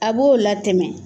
A b'o latɛmɛ